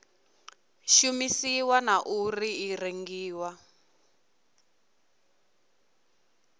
shumisiwa na uri i rengiwa